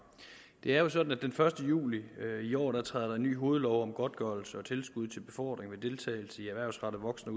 det er jo sådan at der den første juli i år træder en ny hovedlov om godtgørelse og tilskud til befordring ved deltagelse i erhvervsrettet voksen